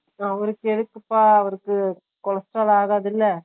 அவர கேட்ற்றுப்பா அவருக்கு Cholesterol ஆகாதுல்ல